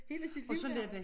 Hele sit liv nærmest